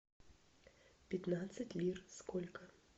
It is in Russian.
пятнадцать лир сколько